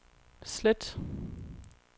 slet